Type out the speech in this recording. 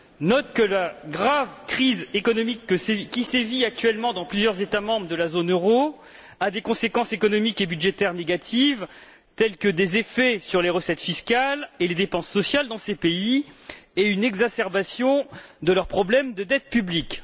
note que la grave crise économique qui sévit actuellement dans plusieurs États membres de la zone euro a des conséquences économiques et budgétaires négatives, telles que des effets sur les recettes fiscales et les dépenses sociales dans ces pays et une exacerbation de leurs problèmes de dette publique